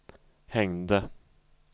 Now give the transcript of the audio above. hängde